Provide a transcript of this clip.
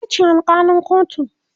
itace alkalin kotun